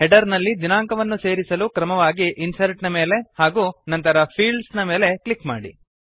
header ನಲ್ಲಿ ದಿನಾಂಕವನ್ನು ಸೇರಿಸಲು ಕ್ರಮವಾಗಿ ಇನ್ಸರ್ಟ್ ನ ಮೇಲೆ ಹಾಗೂ ನಂತರ ಫೀಲ್ಡ್ಸ್ ನ ಮೇಲೆ ಕ್ಲಿಕ್ ಮಾಡಿ